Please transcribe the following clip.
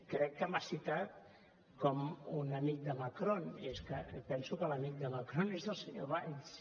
crec que m’ha citat com un amic de macron i és que penso que l’amic de macron és el senyor valls